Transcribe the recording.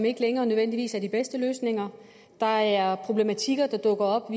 ikke længere nødvendigvis er de bedste løsninger der er problematikker der dukker op